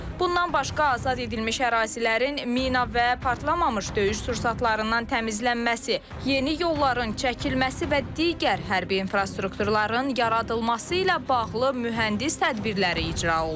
Bundan başqa azad edilmiş ərazilərin mina və partlamamış döyüş sursatlarından təmizlənməsi, yeni yolların çəkilməsi və digər hərbi infrastrukturların yaradılması ilə bağlı mühəndis tədbirləri icra olunur.